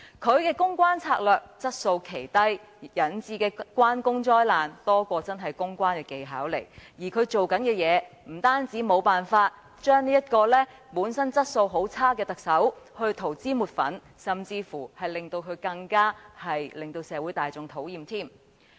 他的公關策略質素奇低，引致"關公災難"更多於表現其真正的公關技巧，而他不但無法為本身質素很差的特首塗脂抹粉，反而令他更為社會大眾所討厭。